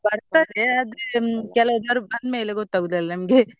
ಬರ್ತದೆ ಆದ್ರೆ ಕೆಲವು ಬಂದ್ ಮೇಲೆ ಗೊತ್ತಗುದು ಅಲ ನಮ್ಗೆ .